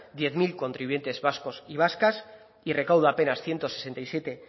diez mil contribuyentes vascos y vascas y recauda a penas ciento sesenta y siete